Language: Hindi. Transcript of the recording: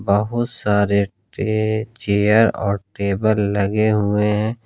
बहुत सारे ट्रे चेयर और टेबल लगे हुए हैं।